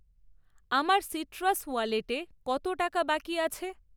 আমার সিট্রাস ওয়ালেটে কত টাকা বাকি আছে?